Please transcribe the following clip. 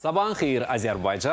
Sabahınız xeyir, Azərbaycan.